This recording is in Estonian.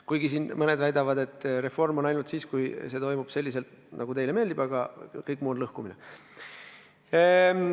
Mõned siin küll väidavad, et reform on ainult siis, kui see toimub selliselt, nagu nendele meeldib, kõik muu on lõhkumine.